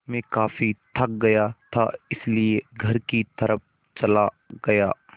मैं काफ़ी थक गया था इसलिए घर की तरफ़ चला गया